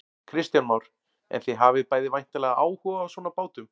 Kristján Már: En þið hafið bæði væntanlega áhuga á svona bátum?